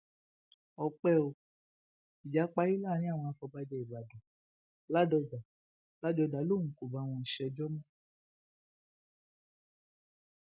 ọpẹ ò ìjà parí láàrin àwọn àfọbàjẹ ìbàdàn ládọjà ládọjà lòun kò bá wọn ṣèjọ mọ